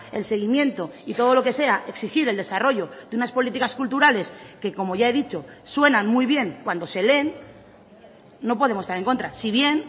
el seguimiento y todo lo que sea exigir el desarrollo de unas políticas culturales que como ya he dicho suenan muy bien cuando se leen no podemos estar en contra si bien